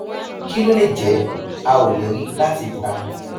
kí ló lè jẹ a ò lè rí i láti ìta